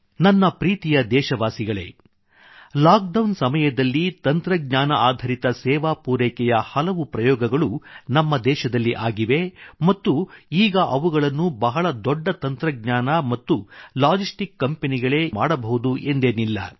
ನನ್ನ ಪ್ರೀತಿಯ ದೇಶವಾಸಿಗಳೇ ಲಾಕ್ಡೌನ್ ಸಮಯದಲ್ಲಿ ತಂತ್ರಜ್ಞಾನಆಧರಿತ ಸೇವಾ ಪೂರೈಕೆಯ ಟೆಕ್ನಾಲಜಿಬೇಸ್ಡ್ ಸರ್ವೈಸ್ ಡಿಲಿವರಿ ಹಲವು ಪ್ರಯೋಗಗಳು ನಮ್ಮ ದೇಶದಲ್ಲಿ ಆಗಿವೆ ಮತ್ತು ಈಗ ಇವುಗಳನ್ನು ಬಹಳ ದೊಡ್ಡ ತಂತ್ರಜ್ಞಾನ ಮತ್ತು ಲಾಜಿಸ್ಟಿಕ್ ಕಂಪೆನಿಗಳೇ ಮಾಡಬಹುದು ಎಂದೇನಿಲ್ಲ